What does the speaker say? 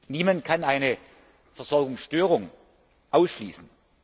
Niemand kann eine Versorgungsstörung ausschließen.